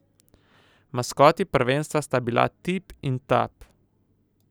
Maskoti prvenstva sta bila Tip in Tap.